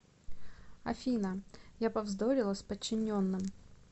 афина я повздорила с подчиненным